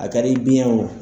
A kɛli i biɲɛ ye o.